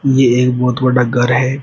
ए एक बहोत बड़ा घर है।